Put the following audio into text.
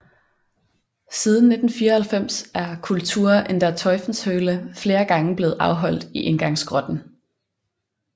Siden 1994 er Kultur in der Teufelshöhle flere gange blevet afholdt i indgangsgrotten